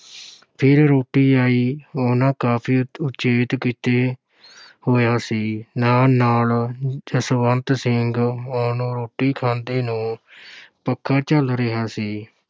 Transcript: ਫਿਰ ਰੋਟੀ ਆਈ, ਉਹਨਾਂ ਕਾਫ਼ੀ ਉਚੇਤ ਕੀਤੇ ਹੋਇਆ ਸੀ, ਨਾਲ-ਨਾਲ ਜਸਵੰਤ ਸਿੰਘ ਉਹਨੂੰ ਰੋਟੀ ਖਾਂਦੇ ਨੂੰ ਪੱਖਾ ਝੱਲ ਰਿਹਾ ਸੀ।